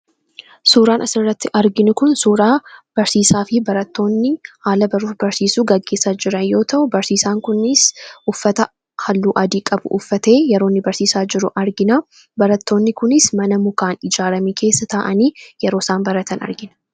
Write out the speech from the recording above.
Suuraan asirratti arginu kun suuraa barsiisaa fi barattoonni haala baruu fi barsiisuu gaggeessaa jiran yoo ta'u, barsiisaan kun uffata halluu adii qabu uffatee yeroo inni barsiisaa jiru argina. Barattoonni kunis mana mukaan ijaarame keessa taa'anii yeroo isaan baratan argina.